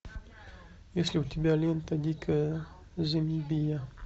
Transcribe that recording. есть ли у тебя лента дикая замбия